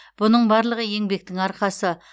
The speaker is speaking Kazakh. бұның барлығы еңбектің арқасы